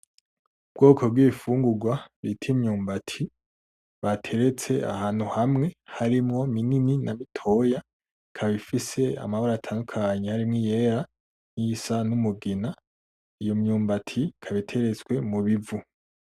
Ubwoko bw'ibifungurwa bita imyumbati bateretse ahantu hamwe harimwo binini na bitoya, ikaba ifise amabara atandukanye harimwo iyera niyisa n'umugina, iyo myumbati ikaba iteretse mubivu.